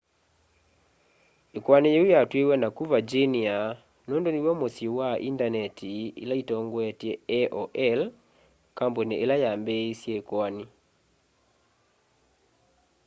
ikoani yiu yatwiwe naku virginia nundu niw'o musyi wa indaneti ila itongoetye aol kambuni ila yambiisye ikoani